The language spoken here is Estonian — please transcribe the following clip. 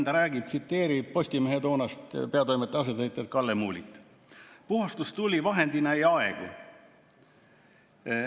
Ta räägib Postimehe toonasest peatoimetaja asetäitjast Kalle Muulist: "Puhastustuli vahendina ei aegu.